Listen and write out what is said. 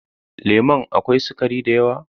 Lemon a kawai sugari da yawa?